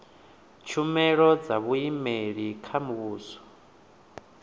tshumelo dza vhuimeli kha muhasho